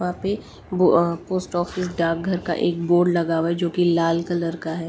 वहां पे post office डार्क घर का एक बोर्ड लगा हुआ है जो कि लाल कलर का है।